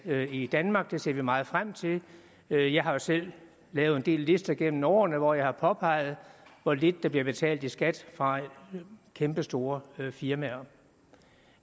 i danmark det ser vi meget frem til jeg jeg har jo selv lavet en del lister gennem årene hvor jeg har påpeget hvor lidt der bliver betalt i skat fra kæmpestore firmaer